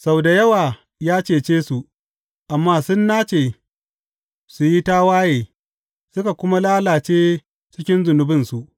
Sau da yawa ya cece su, amma sun nace su yi tawaye suka kuma lalace cikin zunubinsu.